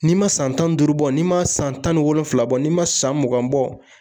N'i ma san tan ni duuru bɔ n'i ma san tan ni wolonwula bɔ n'i ma san mugan bɔ